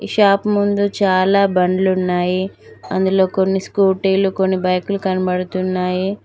Shop ముందు చాలా బండ్లున్నాయి అందులో కొన్ని స్కూటీలు కొన్ని బైకులు కనపడుతున్నాయి.